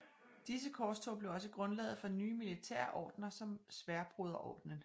Disse korstog blev også grundlaget for nye militære ordener som Sværdbroderordenen